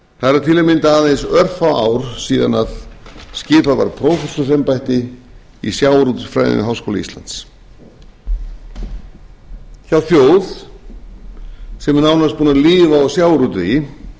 það eru til að mynda aðeins örfá ár síðan skipað var prófessorsembætti í sjávarútvegsfræðum við háskóla íslands hjá þjóð sem er nánast búin að lifa af sjávarútvegi